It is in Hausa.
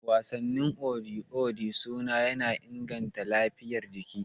Wasannin waje kamar Odi Odi suna inganta lafiyar jiki.